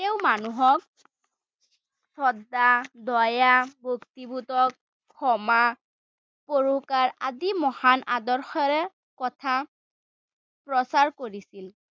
তেওঁ মানুহক শ্ৰদ্ধা, দয়া, ক্ষমা আদি মহান আদৰ্শৰে কথা প্ৰচাৰ কৰিছিল।